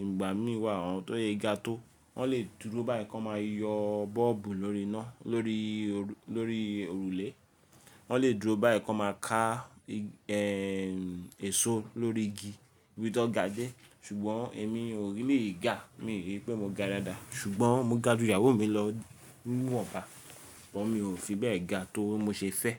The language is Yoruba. Ìgbà mí wà, àwọn tó sè ga tó, wọ́n lè dúró báyìí kó máa yọ bọ́ọ̀bù lórí iná, lórí òrùlé. Wọ́n lè dúró báyìí kó máa ká èèso lórí igi, íbi tó ga dé. Ṣùgbọ́n èmi ò really ga, mi ò rí pé mo ga dáadáa. Ṣùgbọ́n mo ga ju ìyàwó mi lọ ní wọba ṣùgbọ́n mi ò fi bẹ́ẹ̀ ga tó mo ṣe fẹ́.